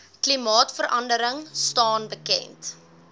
klimaatverandering staan bekend